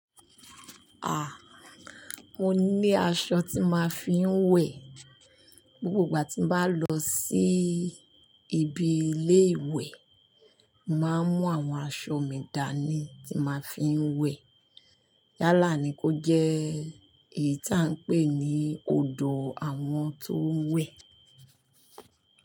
Haa, mo ní aṣọ tí n máa fi ń wẹ̀. Gbogbo ìgbà tí mo bá lọ sí ibi ilé ìwẹ̀, máà mú àwọn aṣọ mi dání tí n máa fi ń wẹ̀. Yálà ni kó jẹ́ èyí tí à ń pè ní odò àwọn tó ń wẹ̀.